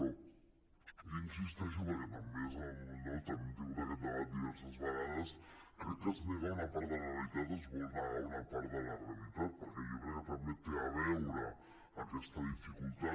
però jo hi insisteixo perquè també hem tingut aquest debat diverses vegades crec que es nega una part de la realitat es vol negar una part de la realitat perquè jo crec que també té a veure aquesta dificultat